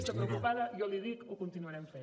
està preocupada jo li dic ho continuarem fent